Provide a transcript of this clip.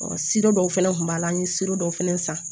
dɔw fɛnɛ kun b'a la an ye dɔw fɛnɛ san